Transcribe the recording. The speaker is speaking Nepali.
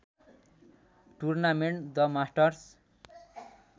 tournament the masters